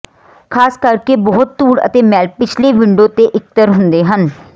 ਖ਼ਾਸ ਕਰਕੇ ਬਹੁਤ ਧੂੜ ਅਤੇ ਮੈਲ ਪਿਛਲੇ ਵਿੰਡੋ ਤੇ ਇਕੱਤਰ ਹੁੰਦੇ ਹਨ